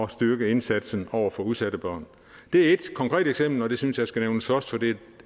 styrke indsatsen over for udsatte børn det er ét konkret eksempel og det synes jeg skal nævnes først for det er